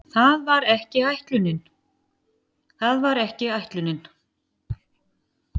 Það var ekki ætlunin.